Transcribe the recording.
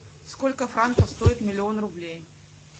сколько франков стоит миллион рублей